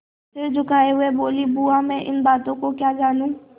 सिर झुकाये हुए बोलीबुआ मैं इन बातों को क्या जानूँ